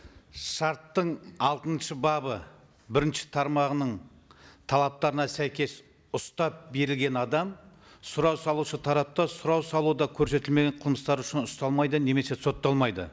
шарттың алтыншы бабы бірінші тармағының талаптарына сәйкес ұстап берілген адам сұрау салушы тараптан сұрау салуда көрсетілмеген қылмыстар үшін ұсталмайды немесе сотталмайды